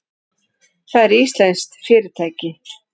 Það er íslenskt fyrirtæki.